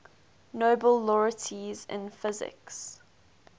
nobel laureates in physics